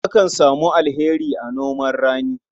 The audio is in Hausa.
Akan samu alheri a noman rani.